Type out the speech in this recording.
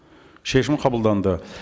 шешім қабылданды